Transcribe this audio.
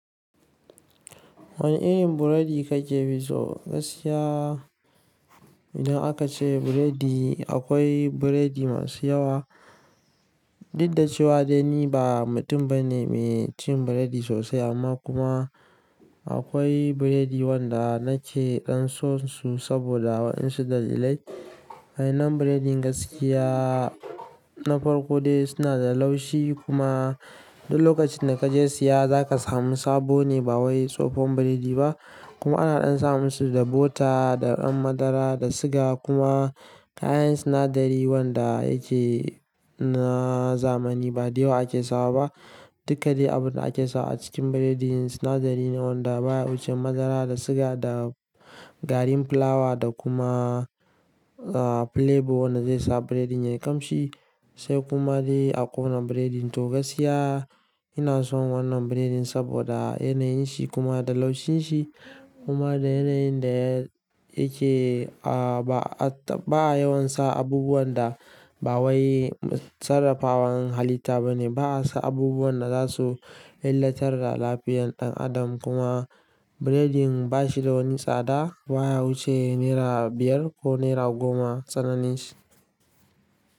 Wane irin burodi kakefi so gaskiya? Idan aka ce burodi akwai burodi masu yawa. Diddace wa dani ba mutum bane mai cin burodi sosai amma kuma akwai burodi wanda nake dan son su saboda wa'insu da dalilai. waYannan burodin gaskiya na Farkode suna da laushi kuma duk lokacin da kaje siya zaka samu sabo ne ba wai tsofon burodi ba. Kuma ana samun su da bota, da ɗan madara, da siga kuma kayan sinadari wanda yake na zamani ba dai wa ake sawa ba. Dukkade abunda ake sawa a cikin burodin sinadari ne wanda baya wuce madara da siga da garin fulawa da kuma a flavor wanda zai sa burodin yayi kamshi. Sai kuma dai a ƙona burodin. To gaskiya ina son wannan burodin saboda yanayin shi kuma da laushin shi kuma da yanayin da yake a ba yawan sa abubuwan da ba wai sarrafawar halitta bane. Ba sa abubuwan da zasu illatar da lafiyar ɗan adam kuma burodin bashi da wani tsada baya wuce naira biyar ko naira goma tsananin shi.